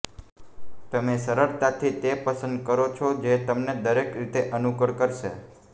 તમે સરળતાથી તે પસંદ કરો છો જે તમને દરેક રીતે અનુકૂળ કરશે